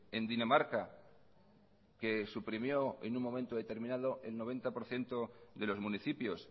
en dinamarca que suprimió en un momento determinado el noventa por ciento de los municipios